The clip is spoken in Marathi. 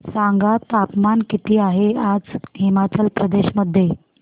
सांगा तापमान किती आहे आज हिमाचल प्रदेश मध्ये